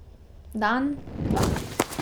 Dan, dva.